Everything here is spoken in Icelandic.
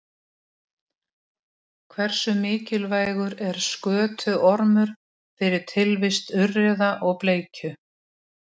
Húfur umferðarinnar: Ólafur Jóhannesson var bæði með húfu og derhúfu í leiknum gegn Grindavík.